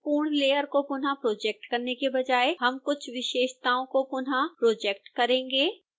पूर्ण layer को पुनःप्रोजेक्ट करने के बजाय हम कुछ विशेषताओं को पुनःप्रोजेक्ट करेंगे